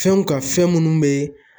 Fɛnw ka fɛn munnu be